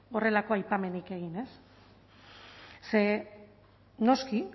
horrelako aipamenik egin ze noski